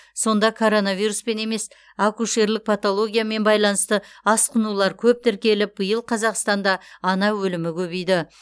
сонда коронавируспен емес акушерлік патологиямен байланысты асқынулар көп тіркеліп биыл қазақстанда ана өлімі көбейді